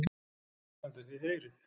ALEXANDER: Þið heyrið!